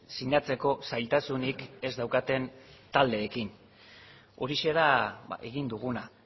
sinatzeko zailtasunik ez daukaten taldeekin horixe da egin duguna